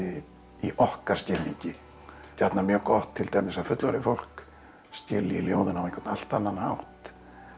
í okkar skilningi gjarnan mjög gott til dæmis að fullorðið fólk skilji ljóðin á einhvern allt annan hátt